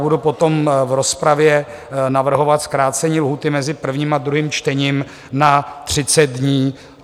Budu potom v rozpravě navrhovat zkrácení lhůty mezi prvním a druhým čtením na 30 dní.